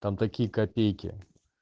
там такие копейки